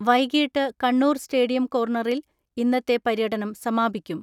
വൈകീട്ട് കണ്ണൂർ സ്റ്റേഡിയം കോർണറിൽ ഇന്നത്തെ പര്യ ടനം സമാപിക്കും.